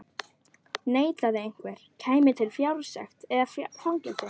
Neitaði einhver, kæmi til fjársekt eða fangelsi.